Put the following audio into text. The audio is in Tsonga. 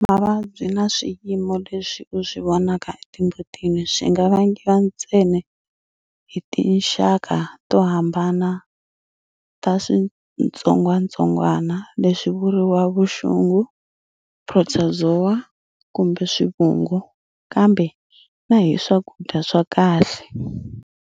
Mavabyi na swiyimo leswi u swi vonaka etimbutini swi nga vangiwa ntsena hi tinxaka to hambana ta switsongwatsongwana leswi vuriwa vuxungu, protozoa kumbe swivungu, kambe na hi swakudya swa kahle.